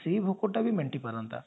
ସେ ଭୋକୋଟା ବି ମେଣ୍ଟି ପାରନ୍ତା